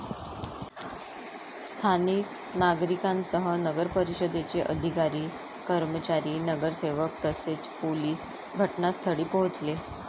स्थानिक नागरिकांसह नगरपरिषदेचे अधिकारी, कर्मचारी, नगरसेवक तसेच पोलीस घटनास्थळी पोहोचले.